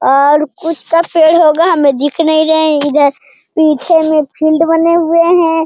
और कुछ का पेड़ होगा हमें दिख नहीं रहें हैं इधर पीछे में फील्ड बनें हुए हैं।